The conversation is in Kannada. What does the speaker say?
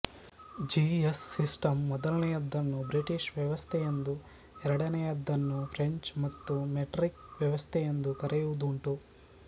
ಜಿ ಎಸ್ ಸಿಸ್ಟಂ ಮೊದಲನೆಯದನ್ನು ಬ್ರಿಟಿಷ್ ವ್ಯವಸ್ಥೆಯೆಂದೂ ಎರಡನೆಯದನ್ನು ಫ್ರೆಂಚ್ ಅಥವಾ ಮೆಟ್ರಿಕ್ ವ್ಯವಸ್ಥೆಯೆಂದೂ ಕರೆಯುವುದುಂಟು